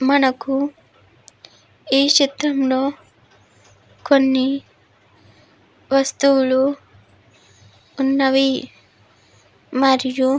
మనకు ఈ చిత్రం లో కొన్ని వస్తువులు ఉన్నవి. మరియు--